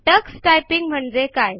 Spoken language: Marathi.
टक्स टायपिंग म्हणजे काय